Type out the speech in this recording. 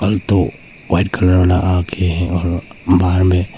दो white colour वाला आगे है और बाहर में--